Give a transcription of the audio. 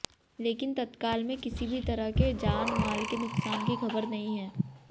लेकिन तत्काल में किसी भी तरह के जान माल के नुकसान की खबर नहीं है